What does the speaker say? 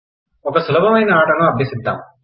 ఒక సులబమైన అటను అభ్యసిద్దామ్